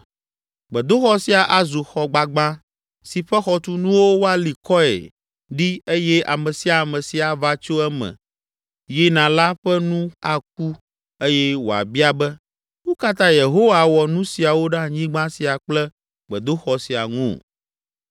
Gbedoxɔ sia azu xɔ gbagbã si ƒe xɔtunuwo woali kɔe ɖi eye ame sia ame si ava tso eme yina la ƒe nu aku, eye wòabia be, ‘Nu ka ta Yehowa wɔ nu siawo ɖe anyigba sia kple gbedoxɔ sia ŋu?’